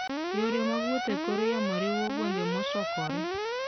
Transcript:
Yore mag wuoth e kor yamo riwo gwenge mosokore.